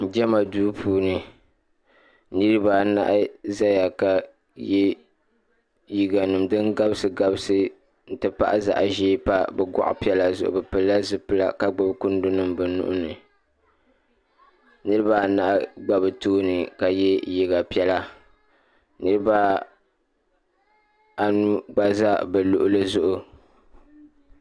jama do puuniniribaanahi ʒɛya ka yɛ liga nɛm din gabisigabisi n ti pahi zaɣ ʒiɛ n pa be buɣ' zuɣ be pɛla zibila ka gbabi kundo nim be nuni niribaanahi gba be tuuni ka yɛ liga piɛla niribaanu gba zaa za be luɣili zuɣ'